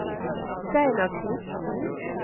Steinar Knudsen